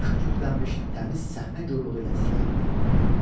Amma yaxşı köklənmiş təmiz səhnə yorluğu ilə titrəyirdi.